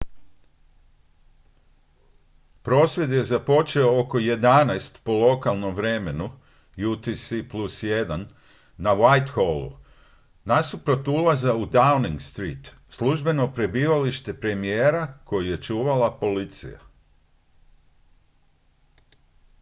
prosvjed je započeo oko 11:00 po lokalnom vremenu utc+1 na whitehallu nasuprot ulaza u downing street službeno prebivalište premijera koji je čuvala policija